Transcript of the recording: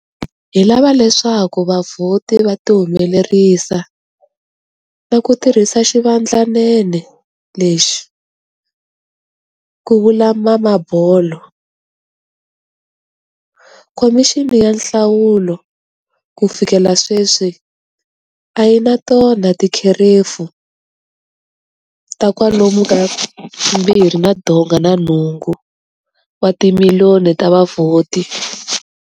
Hi lava leswaku vavhoti va tihumelerisa na ku tirhisa xivandlanene lexi, ku vula Mamabolo. Khomixini ya Nhlawulo ku fikela sweswi a yi na tona tikherefu ta kwalomu ka 2.8 wa timiliyoni ta vavhoti.